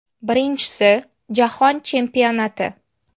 Birinchisi Jahon Chempionati.